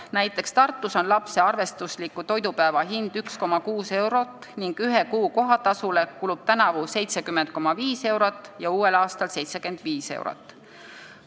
Näiteks Tartus on lapse arvestusliku toidupäeva hind 1,6 eurot ning ühe kuu kohatasule kulub tänavu 70,5 eurot ja uuel aastal 75 eurot.